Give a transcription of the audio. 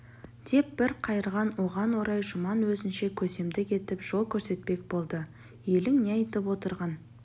деп бір қайырған оған орай жұман өзінше көсемдік етіп жол көрсетпек болды елің не айтып отырған